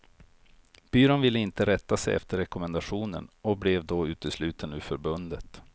Byrån ville inte rätta sig efter rekommendationen och blev då utesluten ur förbundet.